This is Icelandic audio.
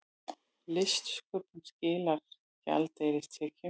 Listsköpun skilar gjaldeyristekjum